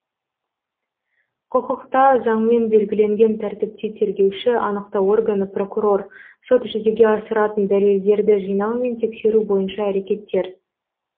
құқықта заңмен белгіленген тәртіпте тергеуші анықтау органы прокурор сот жүзеге асыратын дәлелдерді жинау мен тексеру бойынша әрекеттер